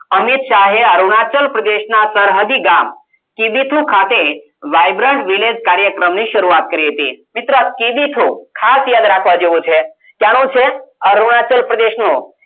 અમિત શાહે અરુણાચલ પ્રદેશના સરહદી ગામ કિબીથુ ખાતે vibrant village કાર્યક્રમ ની શરૂઆત કરી હતી મિત્રો આ કિબીથુ ખાસ યાદ રાખવા જેવુ છે ક્યાંનું છે અરુણાચલ પ્રદેશનું